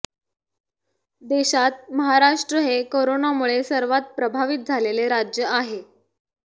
देशात महाराष्ट्र हे कोरोनामुळे सर्वात प्रभावित झालेले राज्य आहे